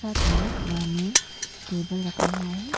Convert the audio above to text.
साथ में वहां में टेबल रखा हुआ है।